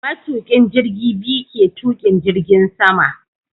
Matukin jirgi biyu ke tukin jirgin sama